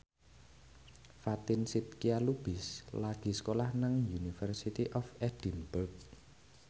Fatin Shidqia Lubis lagi sekolah nang University of Edinburgh